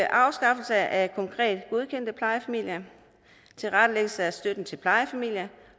afskaffelse af konkret godkendte plejefamilier tilrettelæggelse af støtten til plejefamilier